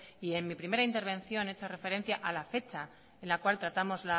y en mi primera intervención he hecho referencia a la fecha en la cual tratamos